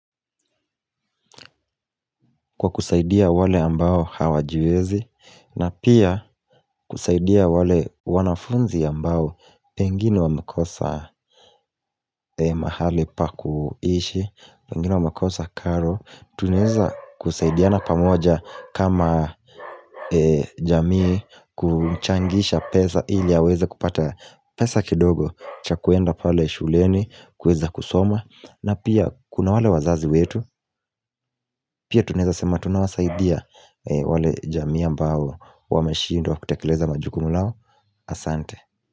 Kwa kusaidia wale ambao hawajiwezi na pia kusaidia wale wanafunzi ambao Pengine wamekosa mahali pa kuishi Pengine wamekosa karo Tunaweza kusaidiana pamoja kama jamii kuchangisha pesa ili aweze kupata pesa kidogo cha kuenda pale shuleni kuweza kusoma na pia kuna wale wazazi wetu Pia tunaweza sema tunawasaidia wale jamii ambao Wameshindwa kutekeleza majukumu lao Asante.